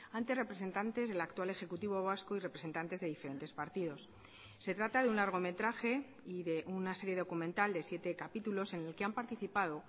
ante representantes del actual ejecutivo vasco y representantes de diferentes partidos se trata de un largometraje y de una serie documental de siete capítulos en el que han participado